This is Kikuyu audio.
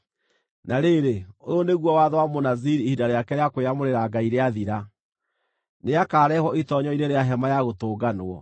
“ ‘Na rĩrĩ, ũyũ nĩguo watho wa Mũnaziri ihinda rĩake rĩa kwĩyamũrĩra Ngai rĩathira. Nĩakarehwo itoonyero-inĩ rĩa Hema-ya-Gũtũnganwo.